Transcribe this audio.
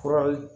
Furali